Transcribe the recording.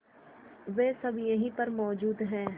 वे सब यहीं पर मौजूद है